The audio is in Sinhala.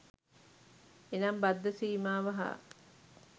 එනම් බද්ධ සීමාව හා